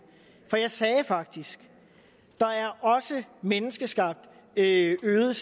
for jeg sagde faktisk der er også menneskeskabt øget øget